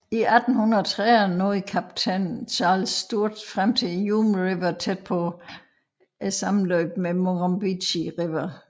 I 1830 nåede kaptajn Charles Sturt frem til Hume River tæt på sammenløbet med Murrumbidgee River